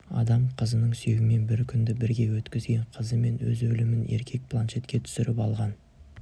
адам қызының сүйегімен бір күнді бірге өткізген қызы мен өз өлімін еркек планшетке түсіріп алған